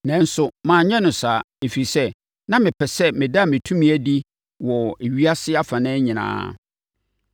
Nanso manyɛ no saa, ɛfiri sɛ, na mepɛ sɛ meda me tumi adi wɔ ewiase afanan nyinaa.